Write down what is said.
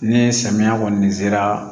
Ni samiya kɔni sera